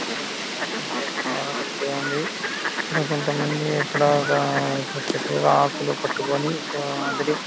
ఇక్కడ పెన్షన్ ఇక్కడ కొంత మంది ఇక్కడ ఒక ఆకులు పట్టుకొని --